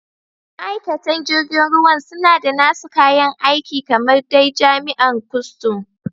Ma'aikatan jirgin ruwan suna da nasu kayan aiki kamar dai jami'an kustum.